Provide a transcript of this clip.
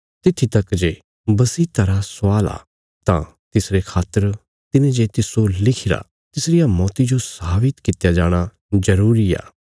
तित्थी तक जे बसीयता रा स्वाल आ तां तिसरे खातर तिने जे तिस्सो लिखिरा तिसरिया मौती जो साबित कित्या जाणा जरूरी आ